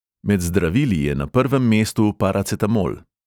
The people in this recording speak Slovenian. Med zdravili je na prvem mestu paracetamol.